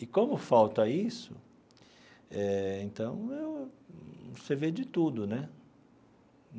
E como falta isso, eh então você vê de tudo né.